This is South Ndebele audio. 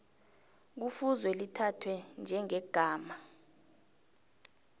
kufuze lithathwe njengegama